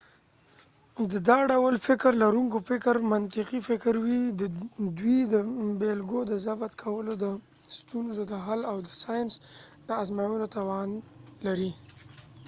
د دا ډول فکر لرونکو فکر منطقی فکر وي ، دوي د بیلګو د ضبط کولو ،د ستونزو د حل او د ساینس د ازموينو توان لري